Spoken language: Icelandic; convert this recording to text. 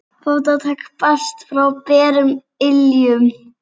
Fótatak barst frá berum iljum.